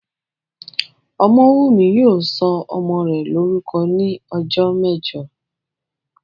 Ọmọ́wùnmí yóò sọ ọmọ rẹ̀ lórúkọ ní ọjọ́ mẹ́jọ